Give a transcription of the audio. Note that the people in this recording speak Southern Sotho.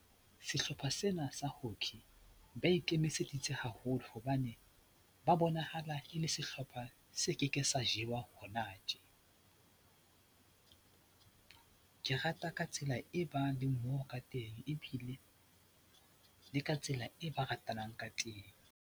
Sehlopha sena sa hockey ba ikemiseditse haholo hobane ba bonahala e le sehlopha se keke sa jewa hona tje. Ke rata ka tsela e bang le mmoho ka teng ebile le ka tsela e ba ratanang ka teng.